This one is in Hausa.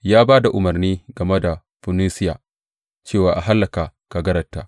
Ya ba da umarni game da Funisiya cewa a hallaka kagararta.